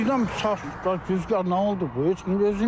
Birdən bu saat da güzgar nə oldu?